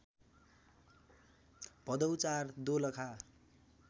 Bhadau ४ Dolakha